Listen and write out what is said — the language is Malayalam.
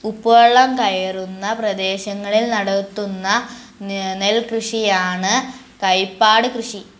ഉപ്പുവെള്ളം കയറുന്ന പ്രദേശങ്ങളിൽ നടത്തുന്ന ന് നെൽകൃഷിയാണ് കൈപ്പാട് കൃഷി